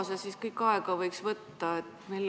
Kui kaua see kõik aega võiks võtta?